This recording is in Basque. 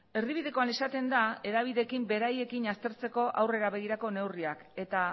erdibidekoan esaten da hedabideekin beraiekin aztertzeko aurrera begirako neurriak eta